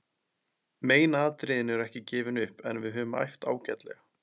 Megin atriðin eru ekki gefin upp en við höfum æft ágætlega.